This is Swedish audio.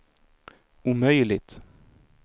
omöjligt